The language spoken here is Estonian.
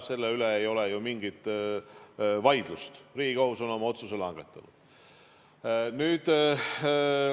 Selle üle ei ole ju mingit vaidlust, Riigikohus on oma otsuse langetanud.